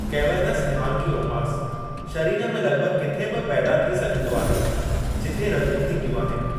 Cavernous hemangiomas शरीर में लगि॒भगि॒ किथे बि पैदा थी सघिन्दो आहे जिथे रगूं॒ थींदियूं आहिनि।